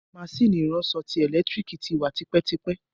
Maṣínì ìránṣo ẹ̀lẹ́tírìkì ti wa tipẹ́tipẹ́.